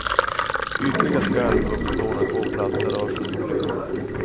Ytliga skalv uppstår när två plattor rör sig åt olika håll.